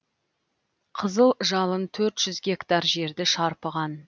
қызыл жалын төрт жүз гектар жерді шарпыған